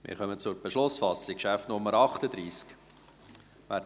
Wir kommen zur Beschlussfassung, Traktandum Nummer 38.